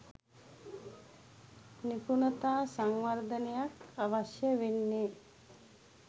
නිපුණතා සංවර්ධනයක් අවශ්‍ය වෙන්නේ.